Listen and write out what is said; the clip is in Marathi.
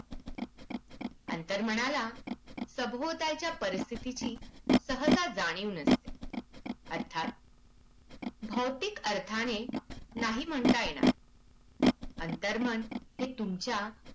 अंतर्मनाला सभोवतालच्या परिस्थितीची सहसा जाणीव नसते. अर्थात भौतिक अर्थाने नाही म्हणता येणार अंतर्मन हे तुमच्या